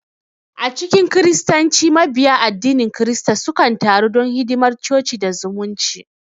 A cikin Kiristanci, Mabiya addinin kirista sukan taru don hidimar coci da zumunci.